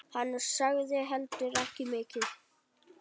Hann sagði heldur ekki mikið.